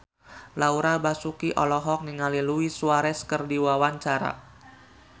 Laura Basuki olohok ningali Luis Suarez keur diwawancara